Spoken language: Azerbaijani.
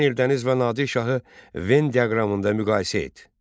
Şəmsəddin Eldəniz və Nadir şahı Venn diaqramında müqayisə et.